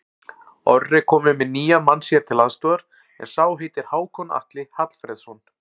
Orri er kominn með nýjan mann sér til aðstoðar, en sá heitir Hákon Atli Hallfreðsson.